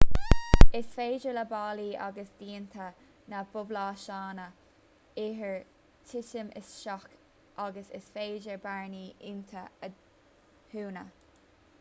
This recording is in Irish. is féidir le ballaí agus díonta na bpluaiseanna oighir titim isteach agus is féidir bearnaí iontu a dhúnadh